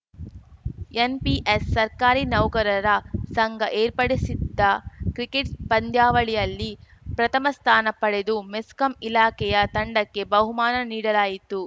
NPS ಸರ್ಕಾರಿ ನೌಕರರ ಸಂಘ ಏರ್ಪಡಿಸಿದ್ದ ಕ್ರಿಕೆಟ್‌ ಪಂದ್ಯಾವಳಿಯಲ್ಲಿ ಪ್ರಥಮ ಸ್ಥಾನ ಪಡೆದು ಮೆಸ್ಕಾಂ ಇಲಾಖೆಯ ತಂಡಕ್ಕೆ ಬಹುಮಾನ ನೀಡಲಾಯಿತು